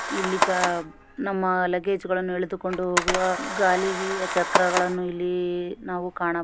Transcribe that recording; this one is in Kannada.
ಇಲ್ಲಿಈಗಾ ನಮ್ಮ ಲಗೇಜ್ ಗಳನ್ನು ಎಳೆದುಕೊಂಡು ಹೋಗುವ ಗಾಲಿ ಚಕ್ರಗಳನ್ನು ಇಲ್ಲಿ ನಾವು ಕಾಣ --